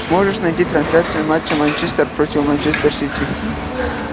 можешь найти трансляцию матча манчестер против манчестер сити